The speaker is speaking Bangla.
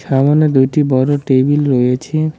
সামোনে দুইটি বড় টেবিল রয়েছে।